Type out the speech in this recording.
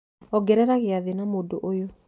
ongerera gĩathĩ na mũndũ ũyũ